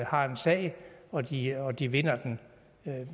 har en sag og de og de vinder den